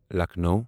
Lucknow